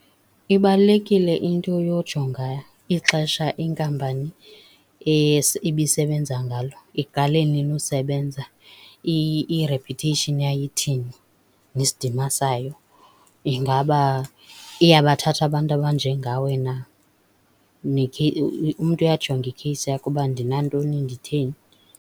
Ibalulekileyo into yojonga ixesha inkampani ibisebenza ngalo, iqale nini usebenza , i-reputation yayo ithini nesidima sayo, ingaba iyabathatha abantu abanjengawe na. Umntu uyajonga ikheyisi yakhe uba ndinantoni, nditheni.